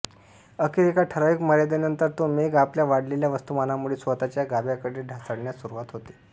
अखेर एका ठरावीक मर्यादेनंतर तो मेघ आपल्या वाढलेल्या वस्तुमानामुळे स्वतःच्या गाभ्याकडे ढासळण्यास सुरवात होते